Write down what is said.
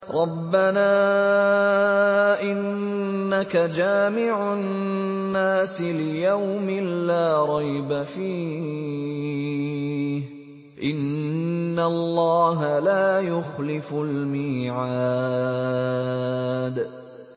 رَبَّنَا إِنَّكَ جَامِعُ النَّاسِ لِيَوْمٍ لَّا رَيْبَ فِيهِ ۚ إِنَّ اللَّهَ لَا يُخْلِفُ الْمِيعَادَ